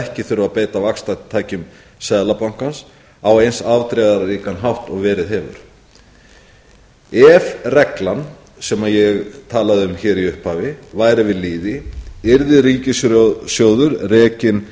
ekki þurfi að beita vaxtatækjum seðlabankans á eins afdrifaríkan hátt og verið hefur ef reglan sem ég talaði um hér í upphafi væri við lýði yrði ríkissjóður rekinn